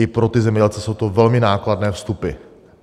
I pro ty zemědělce jsou to velmi nákladné vstupy.